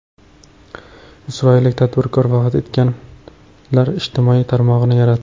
Isroillik tadbirkor vafot etganlar ijtimoiy tarmog‘ini yaratdi.